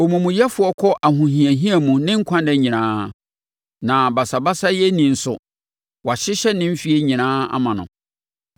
Omumuyɛfoɔ kɔ ahohiahia mu ne nkwanna nyinaa. Na basabasayɛni nso, wɔahyehyɛ ne mfeɛ nyinaa ama no.